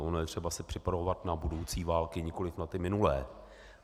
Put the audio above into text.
Ono je třeba se připravovat na budoucí války, nikoli na ty minulé.